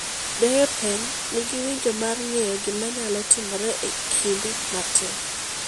Derepen nigi winjo mar ng’eyo gima nyalo timore e kinde matin.